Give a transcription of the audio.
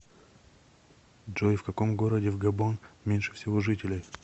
джой в каком городе в габон меньше всего жителей